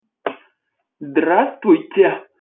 здравствуйте